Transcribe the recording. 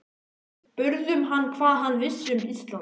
Við spurðum hann hvað hann vissi um Ísland?